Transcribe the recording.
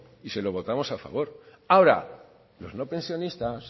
y se lo votamos a favor ahora los no pensionistas